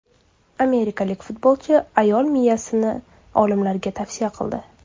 Amerikalik futbolchi ayol miyasini olimlarga vasiyat qildi.